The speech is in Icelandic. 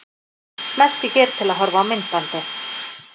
Smelltu hér til að horfa á myndbandið.